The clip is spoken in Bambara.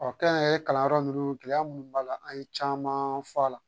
kɛnyɛrɛye kalanyɔrɔ ninnu gɛlɛya munnu b'a la an ye caman fɔ a la